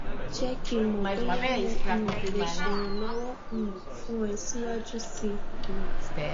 jẹ́ kí n mọ̀ bóyá mo um le ṣèrànlọ́wọ́ um fún ẹ siwaju si um